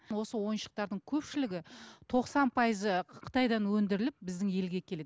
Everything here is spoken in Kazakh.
осы ойыншықтардың көпшілігі тоқсан пайызы қытайдан өндіріліп біздің елге келеді